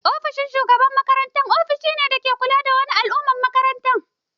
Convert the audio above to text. Ofishin shugaban makaranta ofishin ne dake kula da duk wani al'amuran makaranta.